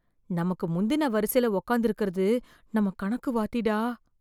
நமக்கு முந்தின வரிசைல உட்காந்து இருக்கறது நம்ம கணக்கு வாத்திடா.